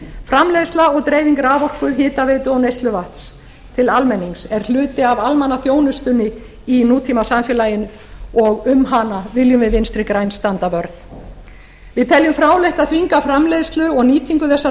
framleiðsla og dreifing raforku hitaveitu og neysluvatns til almennings er hluti af almannaþjónustunni í nútímasamfélagi og um hana viljum við vinstri græn standa vörð ég tel það fráleitt að þvinga framleiðslu og nýtingu þessara